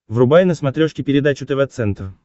врубай на смотрешке передачу тв центр